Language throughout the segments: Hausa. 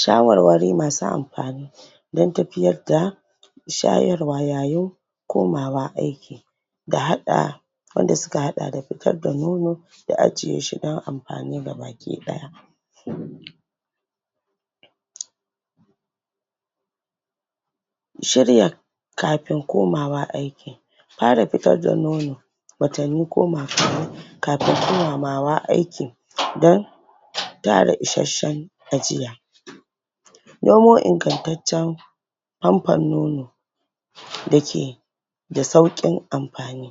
shawar-wari masu amfani don tafiyar da shayarwa yayin komawa aiki da hada wanda suka hada da fitar da nono da ajiyeshi don amfani ga baki daya um shirya kafin komawa aiki fara fitar da nono watanni goma kafin komawa aikin don tara isashen ajiya nemo ingantaccen famfon nono dake da saukin amfani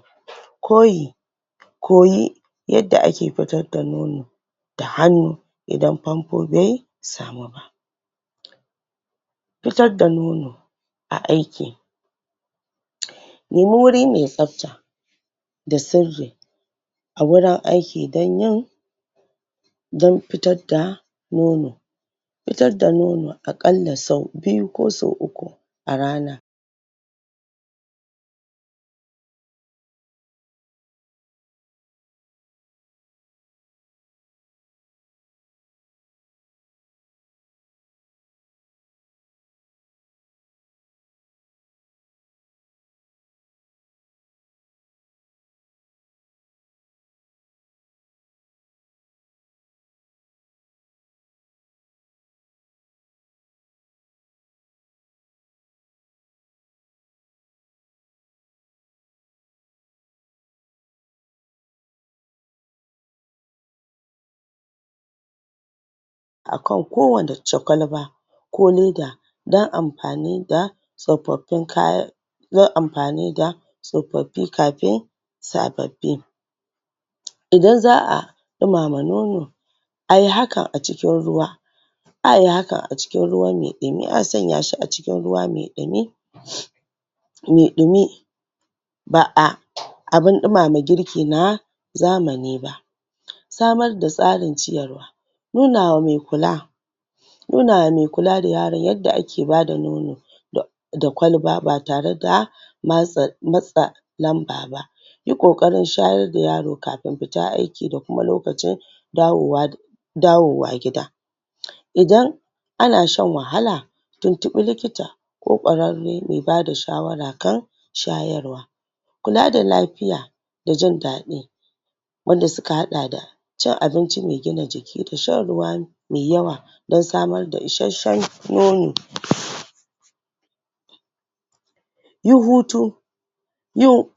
koyi koyi yadda ake fitar da nono da hannu idan famfo bai samu ba fitar da nono a aiki nemi wuri mai tsafta da sirri a wurin aiki don yin don fitar da nono fitar da nono akalla sau biyu ko sau uku a arana akan kowace kwalba ko leda don amfani da tsofaffin kayan yin amfani da tsofaffi kafin sababbi idan za'a dumama nono ayi haka acikin ruwa ayi hakan acikin ruwa maiɗumi a sanya shi acikin ruwa maiɗumi maiɗumi ba'a abun ɗumama girki na zamani ba samar da tasrin ciyarwa nunawa mai kula nuna wa maikula da yaro yadda ake bada nono da kwalba batare da matsa lamba ba yi kokarin shayar da yaro kafin lokacin fita aiki da kuma lokacin dawowa dawo wa gida idan ana shan wahala tuntubi likita ko ƙwararre mai bada shawara kan shayarwa kula da lafiya da jin dadi wanda suka hada da cin abinci mai gina jiki da shan ruwa mai yawa don samar da isashen nono yin hutu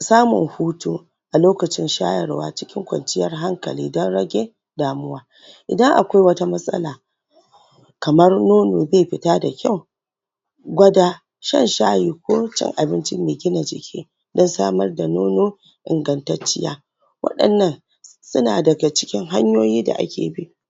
samun hutu a lokacin shayarwa cikin konciyar hankali don rage damuwa idan akwai wata matsala kamar nono bai fita da kyau gwada shan shayi ko cin abinci mai gina jiki don samar da nono ingantacciya wadannan suna daga cikin hanyoyi da ake bi